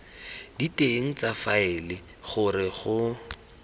diteng tsa faele gore go